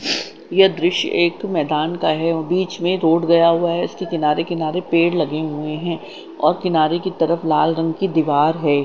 यह दृश्य एक मैदान का है और बीच में एक रोड गया हुआ है इसके किनारे किनारे पेड़ लगे हुए हैं और किनारे की तरफ लाल रंग की दीवार है।